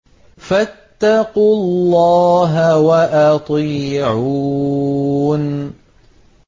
فَاتَّقُوا اللَّهَ وَأَطِيعُونِ